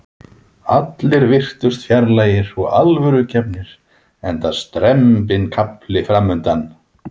Allir virtust fjarlægir og alvörugefnir enda strembinn kafli framundan.